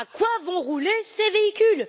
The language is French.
À quoi vont rouler ces véhicules?